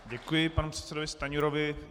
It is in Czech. Děkuji panu předsedovi Stanjurovi.